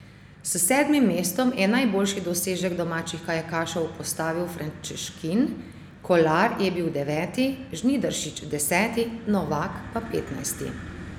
S sedmim mestom je najboljši dosežek domačih kajakašev postavil Frančeškin, Kolar je bil deveti, Žnidarčič deseti, Novak pa petnajsti.